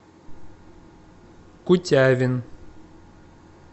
кутявин